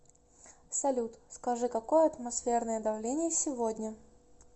салют скажи какое атмосферное давление сегодня